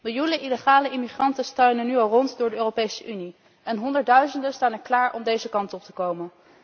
Miljoenen illegale immigranten struinen nu al rond door de Europese Unie en honderdduizenden staan klaar om deze kant op te komen.